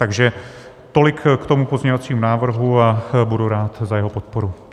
Takže tolik k tomu pozměňovacímu návrhu a budu rád za jeho podporu.